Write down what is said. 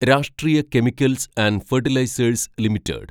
രാഷ്ട്രീയ chemicals and fertilizers limited